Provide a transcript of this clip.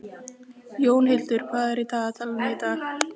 Jónhildur, hvað er á dagatalinu í dag?